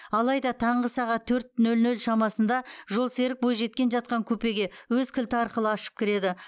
алайда таңғы сағат төрт нөл нөл шамасында жолсерік бойжеткен жатқан купеге өз кілті арқылы ашып кіреді